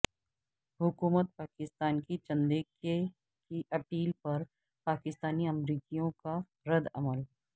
حکومت پاکستان کی چندے کی اپیل پر پاکستانی امریکیوں کا ردعمل